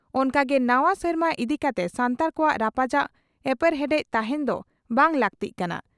ᱚᱱᱠᱟ ᱜᱮ ᱱᱟᱣᱟ ᱥᱮᱨᱢᱟ ᱤᱫᱤ ᱠᱟᱛᱮ ᱥᱟᱱᱛᱟᱲ ᱠᱚᱣᱟᱜ ᱨᱟᱯᱟᱪᱟᱜ/ᱮᱯᱮᱨᱦᱮᱸᱰᱮᱫ ᱛᱟᱦᱮᱸᱱ ᱫᱚ ᱵᱟᱝ ᱞᱟᱜᱛᱤᱜ ᱠᱟᱱᱟ ᱾